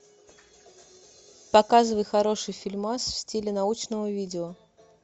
показывай хороший фильмас в стиле научного видео